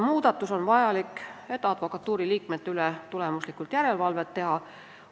Muudatus on vajalik, et advokatuuri liikmete üle tulemuslikku järelevalvet teha.